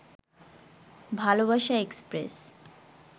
ভালবাসা এক্সপ্রেস